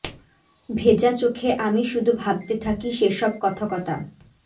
ভেজা চোখে আমি শুধু ভাবতে থাকি সে সব কথকতা